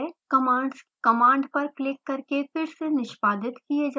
commands command पर click करके फिर से निष्पादित किये जा सकते हैं